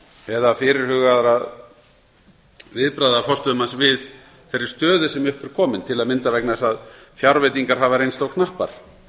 eða fyrirhugaðra viðbragða forstöðumanns við þeirri stöðu sem upp er komin til að mynda vegna þess að fjárveitingar hafa reynst of knappar í